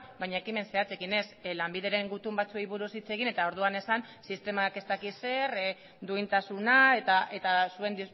baina ekimen zehatzekin ez lanbideren gutun batzuei buruz hitz egin eta orduan esan sistemak ez dakit zer duintasuna eta zuen